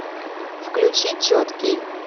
включи четкий